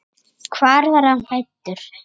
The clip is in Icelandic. Hvar var hann fæddur?